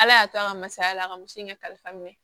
Ala y'a to an ka masaya la a ka muso in kalifa minɛ